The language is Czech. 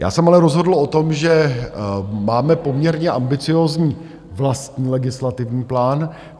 Já jsem ale rozhodl o tom, že máme poměrně ambiciózní vlastní legislativní plán.